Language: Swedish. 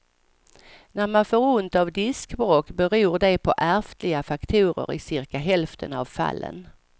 När man får ont av diskbråck beror det på ärftliga faktorer i cirka hälften av fallen.